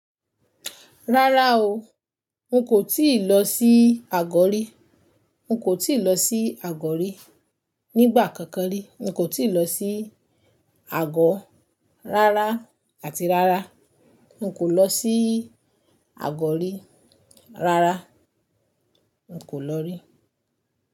Rárá o. N kò tíì lọ sí Àgọ̀ rí. N kò tíì lọ sí Àgọ̀ rí. Nígbà kankan rí, n kò tíì lọ sí Àgọ̀ rárá àti rárá. N kò lọ sí Àgọ̀ rí. Rárá, n kò lọ rí.